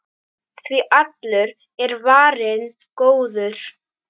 Því allur er varinn góður.